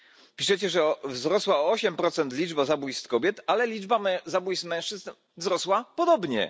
Piszecie, że o 8 wzrosła liczba zabójstw kobiet, ale liczba zabójstw mężczyzna wzrosła podobnie.